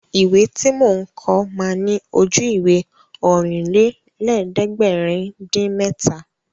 Ìwé tí mò ń kọ ma ní Ojú-Ìwé Ọ̀rìnlélẹ̀ẹ́dẹ́gbèrin-dín-mẹ́ta